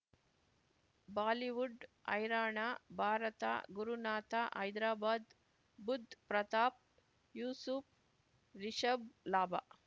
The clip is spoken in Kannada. ಬಾಲಿವುಡ್ ಹೈರಾಣ ಭಾರತ ಗುರುನಾಥ ಹೈದ್ರಾಬಾದ್ ಬುಧ್ ಪ್ರತಾಪ್ ಯೂಸುಫ್ ರಿಷಬ್ ಲಾಭ